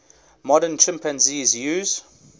modern chimpanzees use